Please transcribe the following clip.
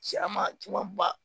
Cɛman cɛman ba